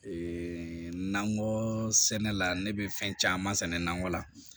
Ee nakɔ sɛnɛ la ne be fɛn caman sɛnɛ nakɔ la